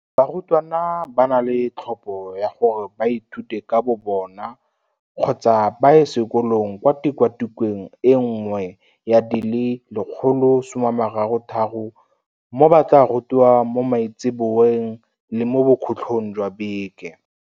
Barutwana ba na le tlhopho ya gore ba ithute ka bobona kgotsa ba ye sekolong kwa tikwatikweng e nngwe ya di le 133 mo ba tla rutiwang mo maitseboeng le mo bokhutlhong jwa beke.